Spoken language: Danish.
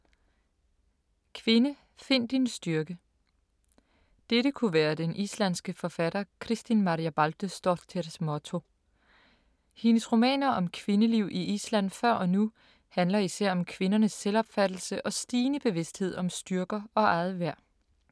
Kvinde, find din styrke! Dette kunne være den islandske forfatter Kristín Marja Baldursdóttirs motto. Hendes romaner om kvindeliv i Island før og nu handler især om kvindernes selvopfattelse og stigende bevidsthed om styrker og eget værd.